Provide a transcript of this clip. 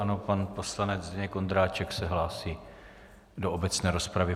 Ano, pan poslanec Zdeněk Ondráček se hlásí do obecné rozpravy.